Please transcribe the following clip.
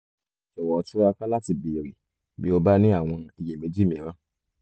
jọ̀wọ́ túraká láti béèrè bí o bá ní àwọn iyèméjì mìíràn